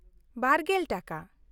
᱒᱐/ᱼ ᱴᱟᱠᱟ ᱾